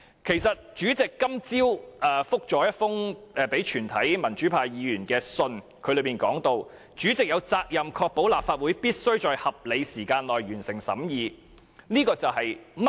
其實，主席今天早上發信給全體民主派議員，當中提到"主席有責任確保立法會必須在合理時間內完成審議《條例草案》"。